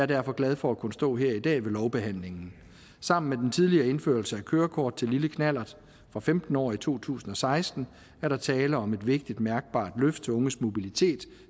derfor glad for at kunne stå her i dag ved lovbehandlingen sammen med den tidligere indførelse af kørekort til lille knallert fra femten år i to tusind og seksten er der tale om et vigtigt mærkbart løft af unges mobilitet